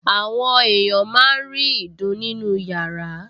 Àwọn èèyàn máa ń rí ìdun nínú yàrá